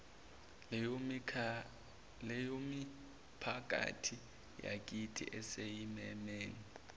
leyomiphakathi yakithi esezimeni